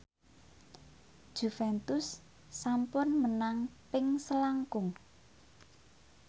Juventus sampun menang ping selangkung